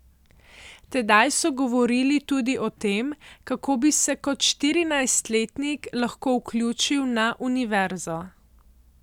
Tedaj so govorili tudi o tem, kako bi se kot štirinajstletnik lahko vključil na univerzo.